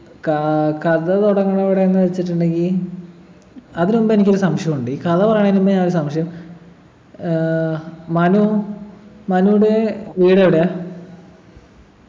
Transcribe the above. കാ കഥ തുടങ്ങുന്നത് എവിടെയെന്ന് വച്ചിട്ടുണ്ടെങ്കി അതിനുമുമ്പ് എനിക്കൊരു സംശയം ഉണ്ട് ഈ കഥ പറയുന്നയിന് മുന്നേ ആ ഒരു സംശയം ഏർ മനു മനുവിൻ്റെ വീട് എവിടെയാ